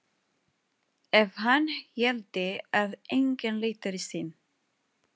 Ef hann héldi að enginn leitaði sín.